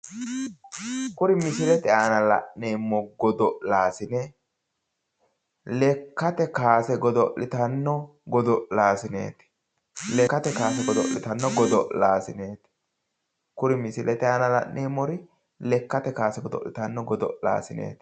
Kuri misilete aana la'neemmo godo'laasine lekkate kaase godo'litanno godo'laasineeti lekkate kaase godo'litanno godo'laasineeti kuri misilete aana la'neemmori lekkate kaase godo'litanno godo'laasineeti